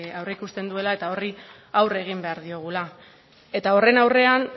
aurre ikusten duela eta horri aurre egin behar diogula eta horren aurrean